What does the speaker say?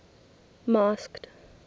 masked